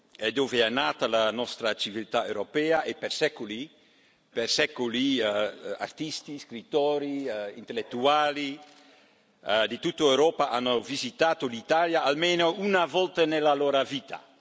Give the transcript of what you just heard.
è dove è nata la nostra civiltà europea e per secoli artisti, scrittori e intellettuali di tutta Europa hanno visitato l'Italia almeno una volta nella loro vita.